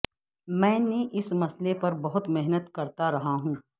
میں نے اس مسئلے پر بہت محنت کرتا رہا ہوں